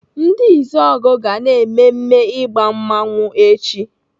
Ndi Izuogu ga na-mmemme ịgba mmanwu echi.